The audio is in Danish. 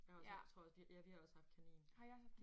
Jeg har også jeg tror også vi ja vi har også haft kanin